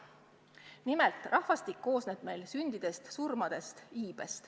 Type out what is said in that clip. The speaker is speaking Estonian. Nimelt rahvastik kujuneb meilgi vastavalt sündidele ja surmadele, vastavalt iibele.